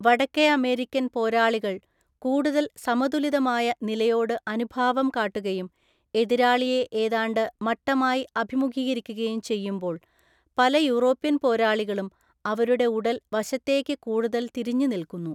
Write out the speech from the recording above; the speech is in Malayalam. വടക്കേ അമേരിക്കൻ പോരാളികൾ കൂടുതൽ സമതുലിതമായ നിലയോട് അനുഭാവം കാട്ടുകയും എതിരാളിയെ ഏതാണ്ട് മട്ടമായി അഭിമുഖീകരിക്കുകയും ചെയ്യുമ്പോള്‍ പല യൂറോപ്യൻ പോരാളികളും അവരുടെ ഉടല്‍ വശത്തേക്ക് കൂടുതൽ തിരിഞ്ഞ് നിൽക്കുന്നു.